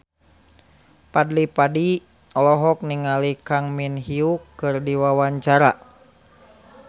Fadly Padi olohok ningali Kang Min Hyuk keur diwawancara